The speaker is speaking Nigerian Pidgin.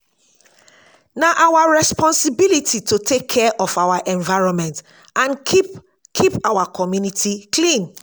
na our responsibility to take care of our environment and keep keep our community clean.